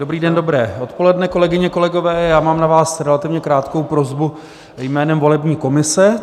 Dobrý den, dobré odpoledne, kolegyně, kolegové, já mám na vás relativně krátkou prosbu jménem volební komise.